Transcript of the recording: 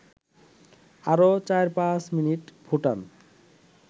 আরও ৪-৫ মিনিট ফুটান